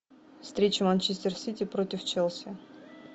встреча манчестер сити против челси